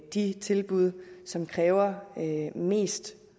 de tilbud som kræver mest